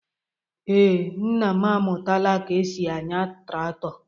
Ee, nna m amụtaala ka e si anya traktọ.